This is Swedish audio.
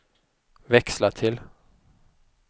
växla till